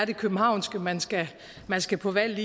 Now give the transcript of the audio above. det københavnske man skal man skal på valg